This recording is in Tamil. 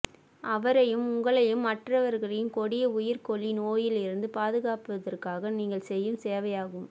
அவரையும் உங்களையும் மற்றவர்களையும் கொடிய உயிர்கொல்லி நோயில் இருந்து பாதுகாப்பதற்காக நீங்கள் செய்யும் சேவையாகும்